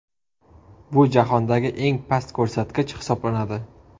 Bu jahondagi eng past ko‘rsatkich hisoblanadi.